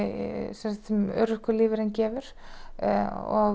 sem örorkulífeyrinn gefur og